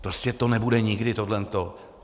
Prostě to nebude nikdy tohle to.